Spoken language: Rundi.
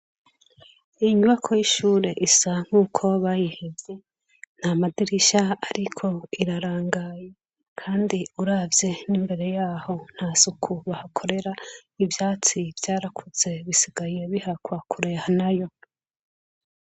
Inyubakwa y'ishure isa nkuko bayihevye. Nt'amadirisha ariko irarangaye, kandi uravye n'imbere y'aho, nta suku bahakorera. Ivyatsi vyarakuze bisigaye bihakwa kureha nayo.